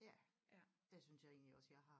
Ja det synes jeg egentlig også jeg har